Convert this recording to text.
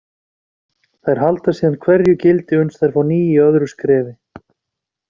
Þær halda síðan hverju gildi uns þær fá ný í öðru skrefi.